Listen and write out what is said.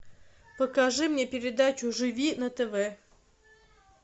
покажи мне передачу живи на тв